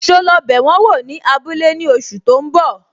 So lọ bẹ wọn wò ní abúlé ní oṣù tó ń bọ̀?